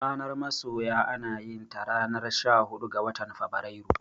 Ranar masoya anayinta ranar shahuɗu ga watan Febrairu.